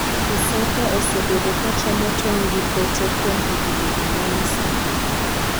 Isaka osebedo ka chamo tong' gi pote kuom higni ang'wen sani